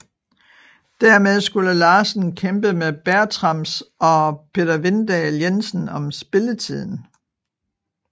Dermed skulle Larsen kæmpe med Bertrams og Peter Vindahl Jensen om spilletiden